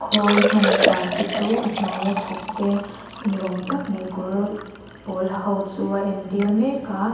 khawl hman dan te chu a hnuai a thawk te ni awm tak mai kawr pawl ha ho chu a entir mek a.